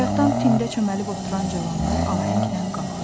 Bayaqdan tində çöməlib oturan cavanlar ahənglə qalxır.